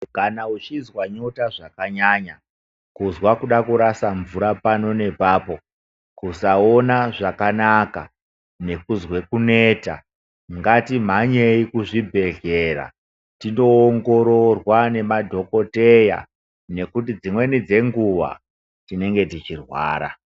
Kana uchizwa nyota zvakanyanya, kuzwa kuda kurasa mvura pano nepapo, kusaona zvakanaka nekuzwe kuneta ngatimhanyei kuzvibhehlera tindoongororwa nemadhokoteya nekuti dzimweni dzenguwa tinenge teirwara.